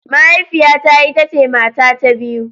Mahaifiyata ita ce mata ta biyu.